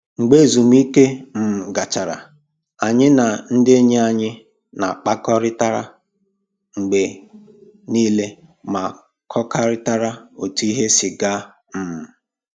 Mgbe ezumike um gachara, anyị na ndị enyi anyị na-akpakọrịta mgbe niile ma kọkarịtara otu ihe si gaa um